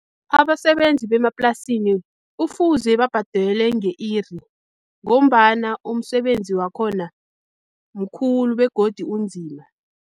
Abasebenzi bemaplasini kufuze babhadelwe nge-iri, ngombana umsebenzi wakhona mkhulu begodi unzima.